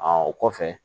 o kɔfɛ